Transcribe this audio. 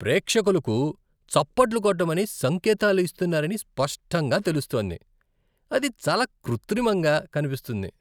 ప్రేక్షకులకు చప్పట్లు కొట్టమని సంకేతాలు ఇస్తున్నారని స్పష్టంగా తెలుస్తోంది, అది చాలా కృత్రిమంగా కనిపిస్తుంది.